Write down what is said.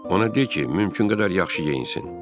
Ona de ki, mümkün qədər yaxşı geyinsin.